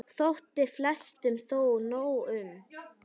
Þótti flestum þó nóg um.